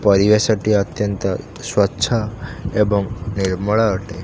ପରିବେଶଟି ଅତ୍ୟନ୍ତ ସ୍ୱଚ୍ଛ ଏବଂ ନିର୍ମଳ ଅଟେ।